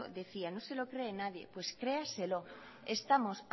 decía que no se lo cree nadie pues créaselo estamos